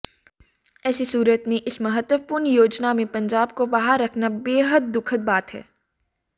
ऐसी सूरत में इस महत्वपूर्ण योजना में पंजाब को बाहर रखना बेहद दुखद बात है